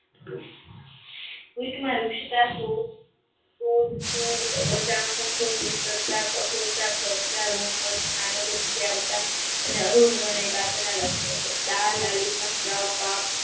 પુસ્થ માં વૃક્ષિકા કઠોરતતા લક્ષણો છે દાલ અલી મસદવ પાક